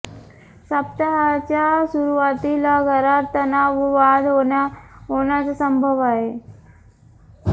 सप्ताहाच्या सुरुवातीला घरात तणाव व वाद होण्याचा संभव आहे